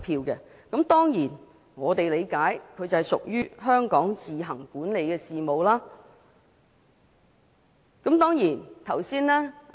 我們當然理解這屬於香港自行管理的事務。